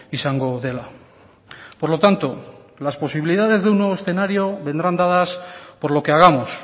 izango dela por lo tanto las posibilidades de un nuevo escenario vendrán dadas por lo que hagamos